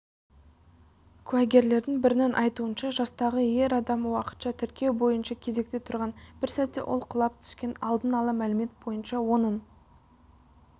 куәгерлердің бірінің айтуынша жастағы ер адам уақытша тіркеу бойынша кезекте тұрған бір сәтте ол құлап түскен алдын ала мәлімет бойынша оның